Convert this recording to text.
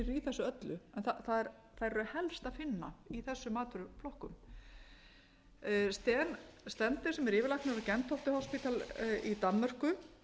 þessu öllu en þær eru helst að finna í þessum matvöruflokkum steen stender sem er yfirlæknir á gentofte hospital í danmörku